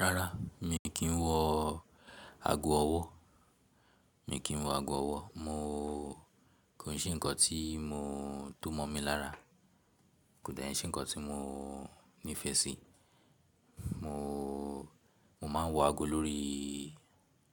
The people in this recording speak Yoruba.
Rárá, mi kì í wọ aago ọwọ́. Mi kì í wọ aago ọwọ́. Mo kò n ṣe nǹkan tí mo to mọ̀ mí lára. Kò de nṣe nǹkan tí mo nífẹ̀ẹ́ sí. Mo, mo máa ń wọ aago lórí